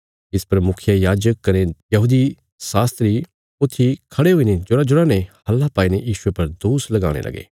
इस पर मुखियायाजक कने धर्म शास्त्री ऊथी खड़े हुईने जोराजोरा ने हल्ला पाईने यीशुये पर दोष लगाणे लगे